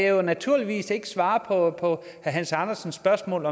jo naturligvis ikke svare på herre hans andersens spørgsmål